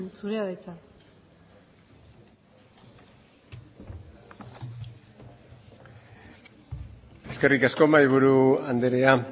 zurea da hitza eskerrik asko mahaiburu andrea